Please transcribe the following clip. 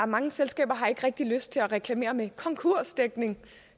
mange selskaber har ikke rigtig lyst til at reklamere med konkursdækning